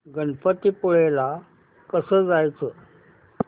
गणपतीपुळे ला कसं जायचं